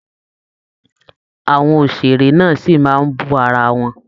Àwọn òṣèré náà sí máa bú ara wọn